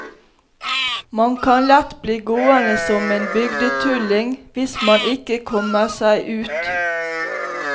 Man kan lett bli gående som en bygdetulling, hvis man ikke kommer seg ut.